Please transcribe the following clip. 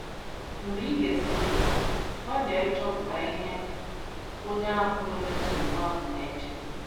Mgbe i gesịrị ntị, gbalịa ịchọpụta ihe onye ahụ nwere nsogbu ahụ na - eche.